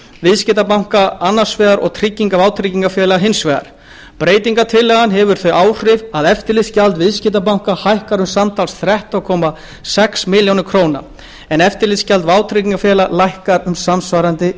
viðskiptabanka annars vegar og vátryggingafélaga hins vegar breytingartillagan hefur þau áhrif að eftirlitsgjald viðskiptabanka hækkar um samtals þrettán komma sex milljónir króna en eftirlitsgjald vátryggingafélaga lækkar um samsvarandi